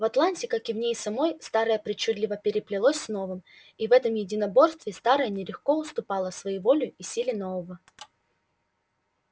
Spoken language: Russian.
в атланте как и в ней самой старое причудливо переплелось с новым и в этом единоборстве старое нередко уступало своеволию и силе нового